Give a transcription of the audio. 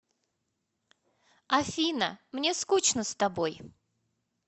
афина мне скучно с тобой